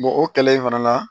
o kɛlɛ in fana na